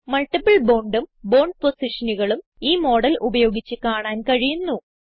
multiple bondഉം bond പൊസിഷനുകളും ഈ മോഡൽ ഉപയോഗിച്ച് കാണാൻ കഴിയുന്നു